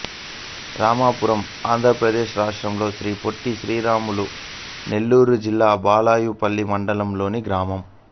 రామాపురం ఆంధ్ర ప్రదేశ్ రాష్ట్రం శ్రీ పొట్టి శ్రీరాములు నెల్లూరు జిల్లా బాలాయపల్లి మండలంలోని గ్రామం